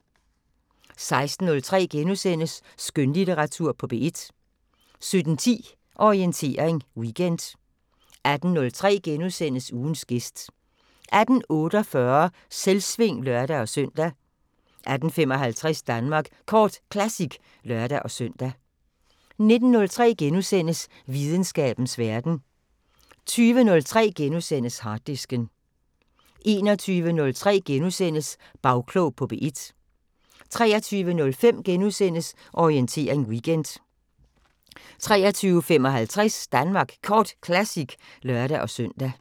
16:03: Skønlitteratur på P1 * 17:10: Orientering Weekend 18:03: Ugens gæst * 18:48: Selvsving (lør-søn) 18:55: Danmark Kort Classic (lør-søn) 19:03: Videnskabens Verden * 20:03: Harddisken * 21:03: Bagklog på P1 * 23:05: Orientering Weekend * 23:55: Danmark Kort Classic (lør-søn)